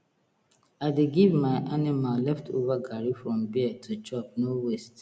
i dey give my animal leftover grain from beer to chop no waste